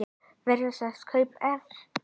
Verða þessi kaup efnd?